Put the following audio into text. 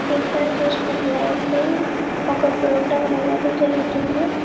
ఇక్కడ చూసినట్టైతే ఒక ప్రొగ్రమ్మె అనేది జరుగుతుంది